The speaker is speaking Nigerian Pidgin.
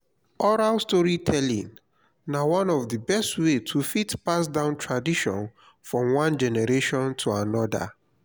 oral storytelling na one of di best way to fit pass down tradition from one generation to another